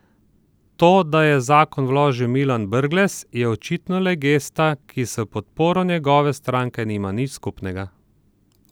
To, da je zakon vložil Milan Brglez, je očitno le gesta, ki s podporo njegove stranke nima nič skupnega.